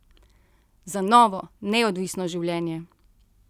Za novo, neodvisno življenje.